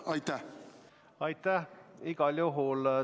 Aitäh!